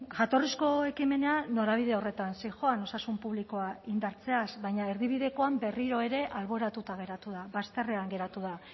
jatorrizko ekimena norabide horretan zihoan osasun publikoa indartzeaz baina erdibidekoan berriro ere alboratuta geratu da bazterrean geratu da